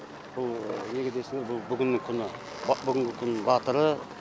бұл неге десеңіз бұл бүгінгі күні бүгінгі күннің батыры